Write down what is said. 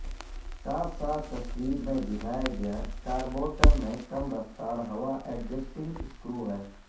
ساتھ ساتھ تصویر میں دکھایا گیا کاربورٹر میں کم رفتار ہوا ایڈجسٹنگ سکرو ہے